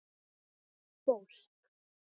Hlýtt fólk.